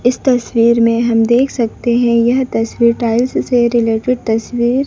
इस तस्वीर में हम देख सकते हैं यह तस्वीर टाइल्स से रिलेटेड तस्वीर --